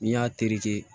N'i y'a tereke